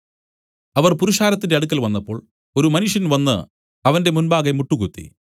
അവർ പുരുഷാരത്തിന്റെ അടുക്കൽ വന്നപ്പോൾ ഒരു മനുഷ്യൻ വന്നു അവന്റെ മുമ്പാകെ മുട്ടുകുത്തി